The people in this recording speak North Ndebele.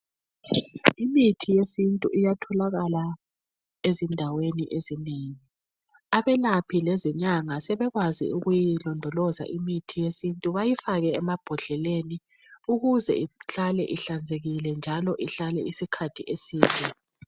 Imithi yesintu iyatholakala ezindaweni ezinengi. Abelaphi lezinyanga sebekwazi ukuyilondoloza imithi yesintu bayifake emambodleleni ukuze ihlale ihlanzekile njalo ihlale isikhathi eside.